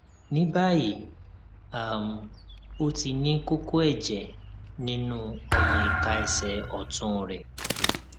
ní báyìí um ó ti ní kókó ẹjẹ nínú ọmọ ìka ẹsẹ ọtún rẹ